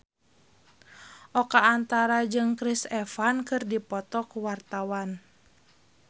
Oka Antara jeung Chris Evans keur dipoto ku wartawan